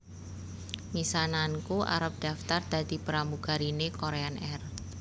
Misananku arep daftar dadi pramugarine Korean Air